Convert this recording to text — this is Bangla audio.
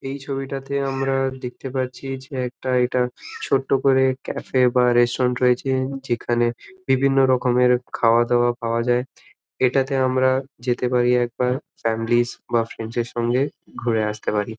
এই ছবিটাতে আমরা দেখতে পারছি যে একটা এটা ছোট্ট করে কাফে এ বা রেস্টুডেন্ট রয়েছে যেখানে বিভিন্ন রকমের খাওয়া দাওয়া পাওয়া যায়। এটাতে আমরা যাতে পারি একবার ফ্যামেলিজ বা ফ্রেন্ড - এর সঙ্গে ঘুরে আস্তে পারি ।